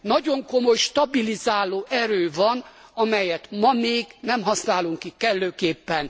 nagyon komoly stabilizáló erő van, amelyet ma még nem használunk ki kellőképpen.